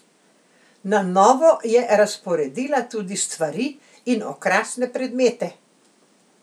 Na novo je razporedila tudi stvari in okrasne predmete.